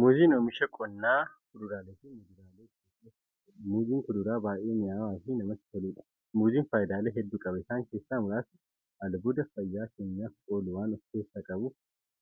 Muuziin oomisha qonnaa kuduraaleefi muduraalee keessaa isa tokkodha. Muuziin kuduraa baay'ee mi'aawaafi namatti toluudha. Muuziin faayidaalee hedduu qaba. Isaan keessaa muraasni; albuuda fayyaa keenyaaf oolu waan ofkeessaa qabuuf,